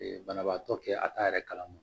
banabaatɔ kɛ a t'a yɛrɛ kalama